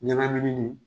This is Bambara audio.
Ɲagaminen